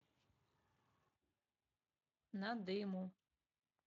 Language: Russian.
надыму